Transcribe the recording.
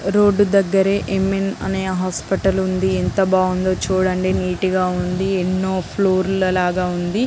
Road దగ్గర ఇమిన్ అనే హాస్పిటల్ ఉంది. ఎంత బాగుందో చూడండి. నీట్ గా ఉంది.ఎన్నో ఫ్లోర్ లాగ ఉంది.